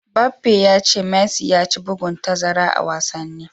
Mbappe ya ce Messi ya ci bugun tazara a wasanni.